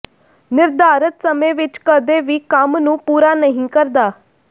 ਨਿਰਧਾਰਤ ਸਮੇਂ ਵਿਚ ਕਦੇ ਵੀ ਕੰਮ ਨੂੰ ਪੂਰਾ ਨਹੀਂ ਕਰਦਾ